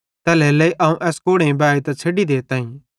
तैल्हेरेलेइ अवं एस कोड़ेइं बाएतां छ़ैडी देताईं